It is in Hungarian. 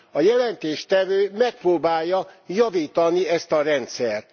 A jelentéstevő megpróbálja javítani ezt a rendszert.